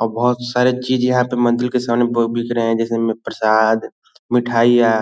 और बहुत साड़ी चीज़ यहाँ पर मंदिर के सामने ब-बिक रहे है। जैसे लोग प्रशाद मिठाइयाँ